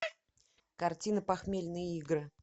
картина похмельные игры